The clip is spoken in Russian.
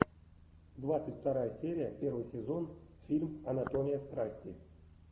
двадцать вторая серия первый сезон фильм анатомия страсти